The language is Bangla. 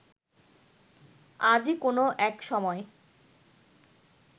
আজই কোন এক সময়